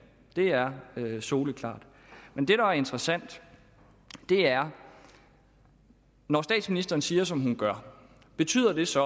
det er soleklart men det der er interessant er når statsministeren siger som hun gør betyder det så